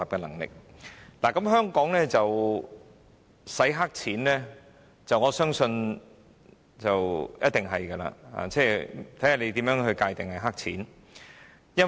我相信香港一定有洗黑錢的情況，問題只在於如何界定"黑錢"。